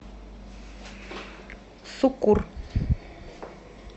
суккур